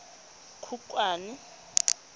khukhwane